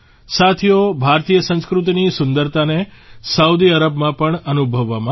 સાથીઓ ભારતીય સંસ્કૃતિની સુંદરતાને સાઉદી અરબમાં પણ અનુભવવામાં આવી